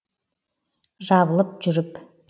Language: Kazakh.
жабылып жүріп